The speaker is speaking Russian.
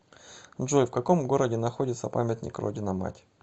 джой в каком городе находится памятник родина мать